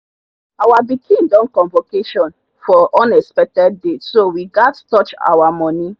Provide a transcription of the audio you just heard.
our pikin don convocation for unexpected date so we gat touch our money